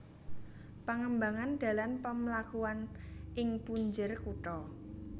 Pangembangan dalan pamlakuan ing punjer kutha